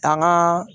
An ka